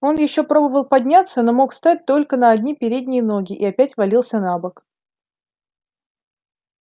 он ещё пробовал подняться но мог встать только на одни передние ноги и опять валился на бок